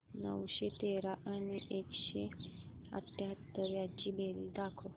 नऊशे तेरा आणि एकशे अठयाहत्तर यांची बेरीज दाखव